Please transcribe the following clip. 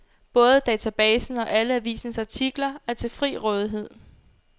Både databasen og alle avisens artikler er til fri rådighed.